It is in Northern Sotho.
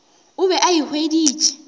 o be a e hweditše